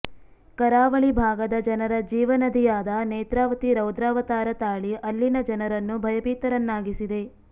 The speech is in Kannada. ಕರಾವಳಿ ಭಾಗದ ಜನರ ಜೀವನದಿಯಾದ ನೇತ್ರಾವತಿ ರೌದ್ರಾವತಾರ ತಾಳಿ ಅಲ್ಲಿನ ಜನರನ್ನು ಭಯಭೀತರನ್ನಾಗಿಸಿದೆ